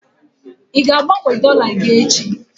Ị ga-agbanwe dọla gị echi?